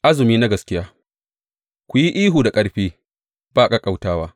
Azumi na gaskiya Ku yi ihu da ƙarfi, ba ƙaƙƙautawa.